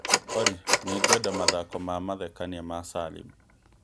Olly, nĩ ngwenda mathako ma mathekania ma Salim